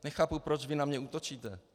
Nechápu, proč vy na mě útočíte.